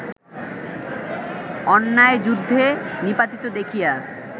অন্যায়যুদ্ধে নিপাতিত দেখিয়া